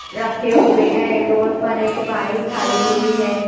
रखें हुए हैं ये रोड पर एक बाइक खड़ी हुई हैं।